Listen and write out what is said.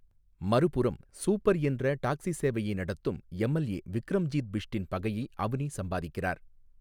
மறுபுறம், சூப்பர் என்ற டாக்ஸி சேவையை நடத்தும் எம்எல்ஏ விக்ரம்ஜீத் பிஷ்ட்டின் பகையை அவ்னி சம்பாதிக்கிறார்.